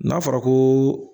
N'a fɔra ko